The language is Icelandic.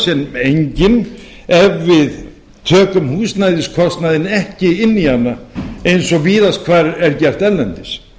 sem engin ef við tökum húsnæðiskostnaðinn ekki inn í hana eins og víðast hvar er gert erlendis